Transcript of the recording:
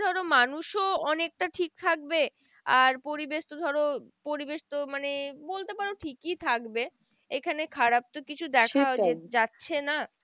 ধরো মানুষও অনেকটা ঠিক থাকবে আর পরিবেশ তো ধরো পরিবেশ তো মানে বলতে পারো ঠিকই থাকবে। এখানে খারাপ তো কিছু দেখা যাচ্ছে না।